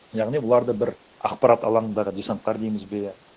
яғни бұларды бір ақпарат алаңындағы десанттар дейміз бе